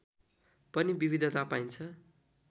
पनि विविधता पाइन्छ